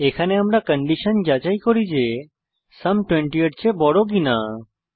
এখানে আমরা কন্ডিশন যাচাই করি যে সুম 20 এর চেয়ে বড় কিনা